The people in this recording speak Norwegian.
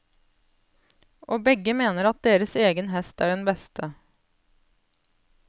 Og begge mener at deres egen hest er den beste.